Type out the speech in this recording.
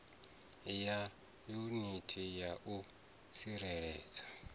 ya yuniti ya u tsireledza